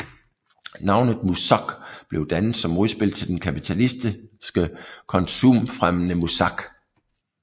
Navnet MuSoc blev dannet som modspil til den kapitalistiske konsumfremmende muzak